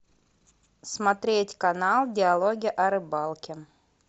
смотреть канал диалоги о рыбалке